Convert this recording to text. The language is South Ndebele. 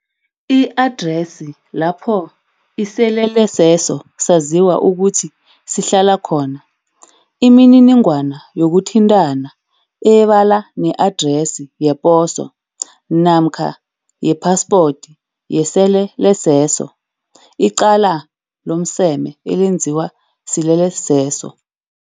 I-adresi lapho iseleleseso saziwa ukuthi sihlala khona, imininingwana yokuthintana ebala ne-adresi yeposo. Namkha yepaspoti yesele leseso. Icala lomseme elenziwa sileleseso.